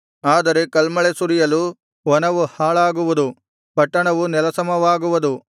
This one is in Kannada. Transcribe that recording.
ಆದರೆ ಕಲ್ಮಳೆ ಸುರಿಯಲು ವನವು ಹಾಳಾಗುವುದು ಪಟ್ಟಣವು ನೆಲಸಮವಾಗುವುದು